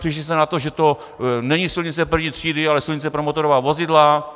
Přišli jste na to, že to není silnice první třídy, ale silnice pro motorová vozidla.